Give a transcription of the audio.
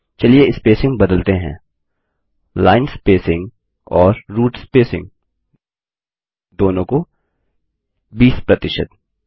चलिए स्पेसिंग बदलते हैं लाइन स्पेसिंग और रूट स्पेसिंग दोनों को 20 प्रतिशत